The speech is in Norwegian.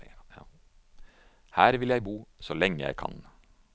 Her vil jeg bo så lenge jeg kan.